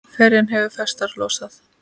Ferjan hefur festar losað.